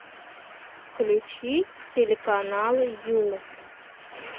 включи телеканал ю